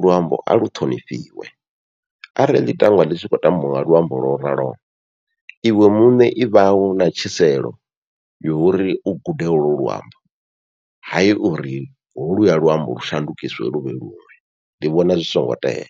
luambo a lu ṱhonifhiwe arali ḽi tangwa ḽi tshi khou tambiwa nga luambo lwo raloho iwe muṋe i vhau u na yori u gude holu luambo hayi uri holuya luambo lu shandukiswe luvhe ndi vhona zwi songo tea.